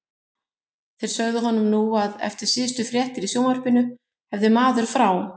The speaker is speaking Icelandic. Þeir sögðu honum nú að eftir síðustu fréttir í sjónvarpinu hefði maður frá